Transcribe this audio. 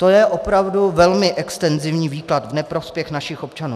To je opravdu velmi extenzivní výklad v neprospěch našich občanů.